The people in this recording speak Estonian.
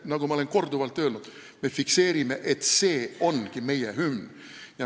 Nagu ma olen korduvalt öelnud, me fikseerime, et see ongi meie hümn.